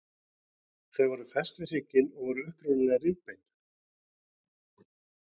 Þau eru fest við hrygginn og voru upprunalega rifbein.